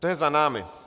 To je za námi.